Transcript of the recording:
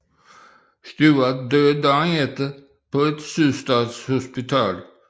Stuart døde dagen efter på et Sydstatshospital